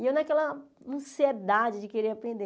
E eu naquela ansiedade de querer aprender.